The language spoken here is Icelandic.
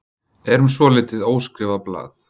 Erum svolítið óskrifað blað